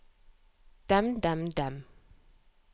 dem dem dem